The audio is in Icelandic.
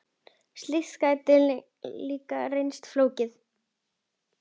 Slíkt gæti líka reynst flókið.